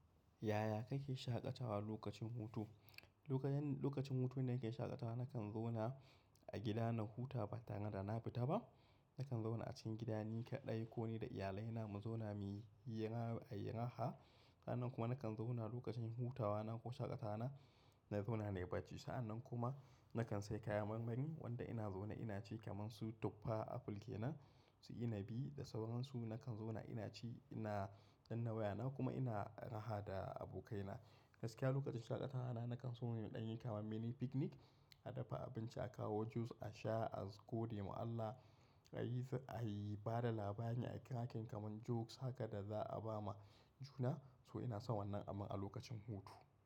Yaya kake shaƙatawa lokacin hutu? Lokacin, lokacin hutu da nake shaƙatawa nakan zauna a gida na huta ba tare da na fita ba. Nakan zauna a cikin gida ni kaɗai ko ni da iyalai na mu zauna muyi hira, a yi raha. Sa'annan kuma nakan zauna lokacin hutawa na ko shaƙatawa na, na zauna ne a bacci. Sa'annan kuma nakan sayi kayan marmari wanda ina zauna ina ci kamar su tuffa, apple ke nan, su ina bi da sauran su nakan zauna ina ci ina danna waya na kuma ina raha da abokai na. Gaskiya lokacin shaƙatawa na nakan so muyi ta mini picnic, a dafa abinci, a kawo juice, a sha, a gode ma Allah a yi, a yi bada labari, a yi ta hakan kaman jokes haka da za a ba ma juna. To ina son wannan amman a lokacin hutu.